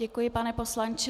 Děkuji, pane poslanče.